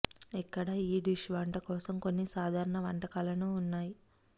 ఇక్కడ ఈ డిష్ వంట కోసం కొన్ని సాధారణ వంటకాలను ఉన్నాయి